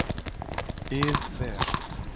ið ver.